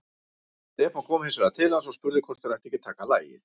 Stefán kom hins vegar til hans og spurði hvort þeir ættu ekki að taka lagið.